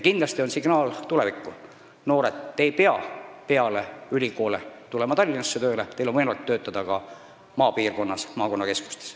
Kindlasti on tulevikusignaal selline: noored, te ei pea peale ülikooli Tallinnasse tööle tulema, teil on võimalik töötada ka maapiirkonnas, maakonnakeskustes.